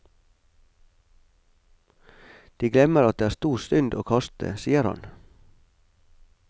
De glemmer at det er stor synd å kaste, sier han.